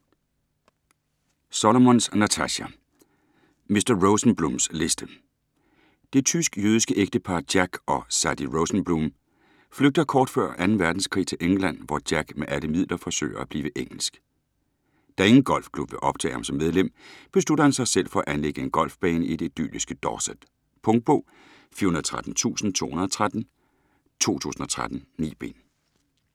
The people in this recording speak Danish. Solomons, Natasha: Mr. Rosenblums liste Det tysk-jødiske ægtepar Jack og Sadie Rosenblum flygter kort før 2. verdenskrig til England, hvor Jack med alle midler forsøger at blive engelsk. Da ingen golfklub vil optage ham som medlem, beslutter han sig for selv at anlægge en golfbane i det idylliske Dorset. Punktbog 413213 2013. 9 bind.